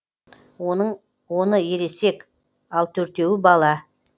оның оны ересек ал төртеуі бала